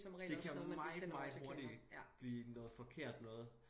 Det kan meget meget hurtig blive noget forkert noget